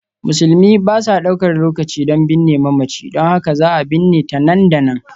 Musulmi ba sa ɗaukar lokaci don binne mamaci, don haka za a binne ta nan da nan.